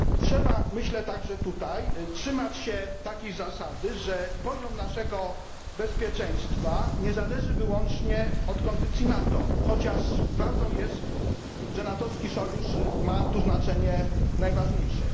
Myślę, że trzeba także trzymać się zasady, że poziom naszego bezpieczeństwa nie zależy wyłącznie od kondycji NATO, chociaż prawdą jest, że natowski sojusz ma tu znaczenie najważniejsze.